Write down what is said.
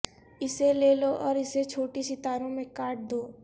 اسے لے لو اور اسے چھوٹی ستاروں میں کاٹ دو